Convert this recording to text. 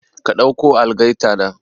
Ka ɗauko algaita nan